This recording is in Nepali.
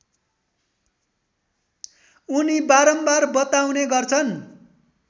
उनी बारम्बार बताउने गर्छन्